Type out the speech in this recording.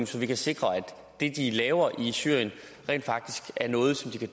så vi kan sikre at det de laver i syrien rent faktisk er noget som de kan